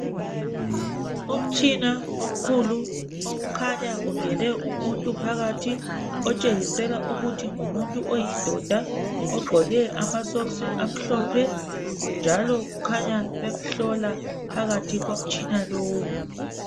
Umtshina omkhulu okukhanya ungene umuntu phakathi, otshengisela ukuthi ngumuntu oyindoda ogqoke amasokisi amhlophe, njalo kukhanya bemhlola phakathi komtshina lowu.